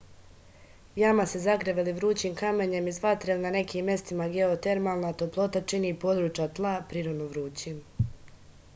jama se zagreva ili vrućim kamenjem iz vatre ili na nekim mestima geotermalna toplota čini područja tla prirodno vrućim